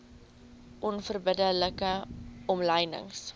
onverbidde like omlynings